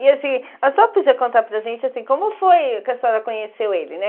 E assim, a senhora podia contar para gente assim como foi que a senhora conheceu ele, né?